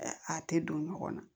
A tɛ don ɲɔgɔn na